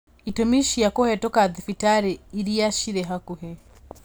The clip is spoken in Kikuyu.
Itũmi cia kũhetũka thibitarĩ iria cirĩ hakuhĩ